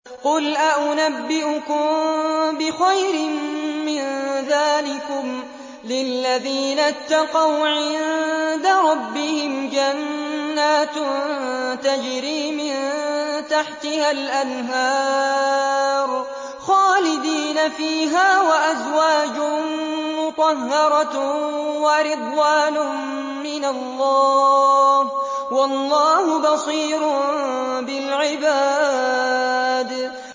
۞ قُلْ أَؤُنَبِّئُكُم بِخَيْرٍ مِّن ذَٰلِكُمْ ۚ لِلَّذِينَ اتَّقَوْا عِندَ رَبِّهِمْ جَنَّاتٌ تَجْرِي مِن تَحْتِهَا الْأَنْهَارُ خَالِدِينَ فِيهَا وَأَزْوَاجٌ مُّطَهَّرَةٌ وَرِضْوَانٌ مِّنَ اللَّهِ ۗ وَاللَّهُ بَصِيرٌ بِالْعِبَادِ